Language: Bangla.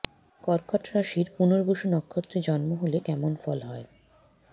কর্কট রাশির পুনর্বসু নক্ষত্রে জন্ম হলে কেমন ফল হয়